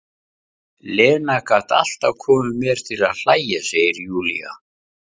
Lena gat alltaf komið mér til að hlæja, segir Júlía.